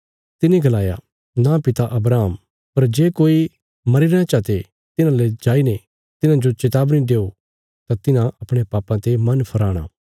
तिने गलाया नां पिता अब्राहम पर जे कोई मरीरेआं चा ते तिन्हाले जाईने तिन्हांजो चेतावनी देओ तां तिन्हां अपणयां पापां ते मन फिराणा